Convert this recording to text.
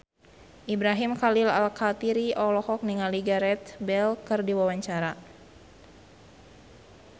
Ibrahim Khalil Alkatiri olohok ningali Gareth Bale keur diwawancara